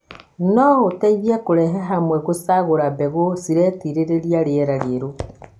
ũũ no ũteithie kũrehe hamwe gũcagũra mbegũ ciretirĩrĩria rĩera rĩerũ,